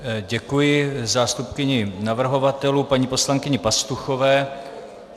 Děkuji zástupkyni navrhovatelů paní poslankyni Pastuchové.